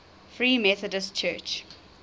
free methodist church